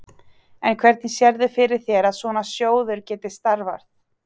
En hvernig sérðu fyrir þér að svona sjóður geti starfað?